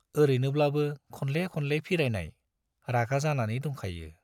औरैनोब्लाबो खनले खनले फिरायनाय रागा जानानै दंखायो।